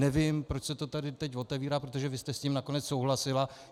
Nevím, proč se to tady teď otevírá, protože vy jste s tím nakonec souhlasila.